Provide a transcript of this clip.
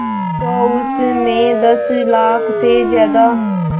तो उस में दस लाख से ज़्यादा